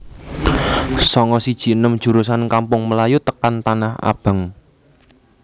Sanga siji enem jurusan Kampung Melayu tekan Tanah Abang